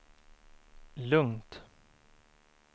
lugnt